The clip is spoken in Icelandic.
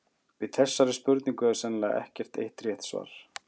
Við þessari spurningu er sennilega ekkert eitt rétt svar.